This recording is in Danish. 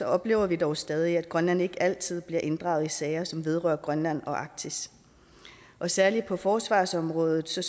oplever vi dog stadig at grønland ikke altid bliver inddraget i sager som vedrører grønland og arktis og særlig på forsvarsområdet så